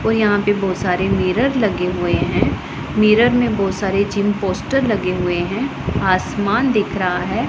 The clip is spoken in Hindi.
और यहां पे बहुत सारे मिरर लगे हुए हैं मिरर में बहुत सारे जिम पोस्टर लगे हुए है आसमान दिख रहा है।